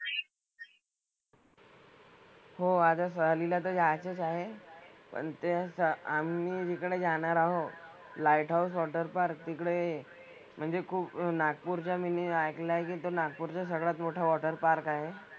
हो आता सहलीला तर जायचंच आहे. पण ते स आम्ही जिकडे जाणार आहोत लाईट हाऊस वॉटर पार्क तिकडे म्हणजे खूप नागपूरच्या मी नी ऐकलंय की ते नागपूरचं सगळ्यात मोठं वॉटर पार्क आहे.